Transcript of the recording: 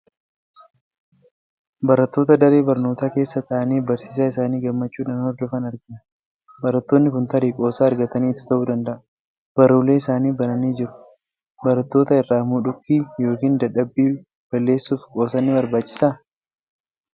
Barattoota daree barnootaa keessa taa'anii barsiisaa isaanii gammachuudhaan hordofan argina. Barattoonni kun tarii qoosaa argataniitu ta'uu danda'a. Baruulee isaanii bananii jiru. Barattoota irraa mudhikkii yookiin dadhabbii balleessuuf qoosaan ni barbaachisaa?